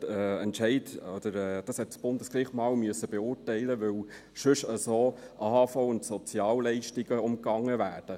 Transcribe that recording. Das musste das Bundesgericht einmal beurteilen, weil sonst auf diese Weise AHV- und Sozialleistungen umgangen werden.